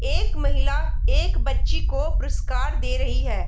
एक महिला एक बच्ची को पुरस्कार दे रही है।